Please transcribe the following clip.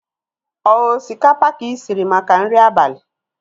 Ọ osikapa ka ị shiri maka nri abalị?